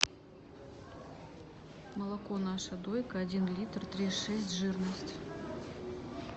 молоко наша дойка один литр три и шесть жирность